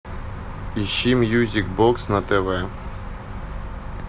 ищи мьюзик бокс на тв